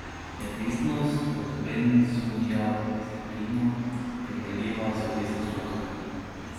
Je odvisnost od benzodiazepinov primerljiva z odvisnostjo od heroina?